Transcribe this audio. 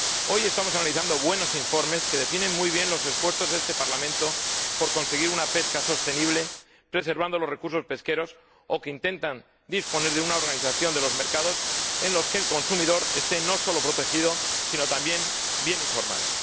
Hoy estamos analizando buenos informes que definen muy bien los esfuerzos de este Parlamento por conseguir una pesca sostenible preservando los recursos pesqueros o que intentan disponer una organización de los mercados en los que el consumidor esté no solo protegido sino también bien informado.